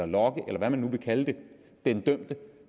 lokke eller hvad man nu vil kalde det den dømte